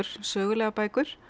sögulegar bækur